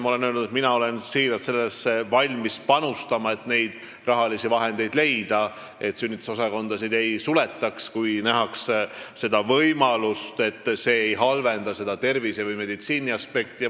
Ma olen öelnud, et mina olen siiralt valmis panustama sellesse, leidmaks rahalisi vahendeid, et sünnitusosakondi ei suletaks, kui nähakse võimalust, et see ei halvenda tervise- või meditsiiniaspekti.